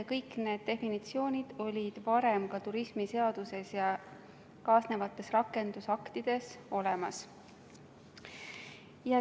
Kõik need definitsioonid olid varem ka turismiseaduses ja kaasnevates rakendusaktides olemas.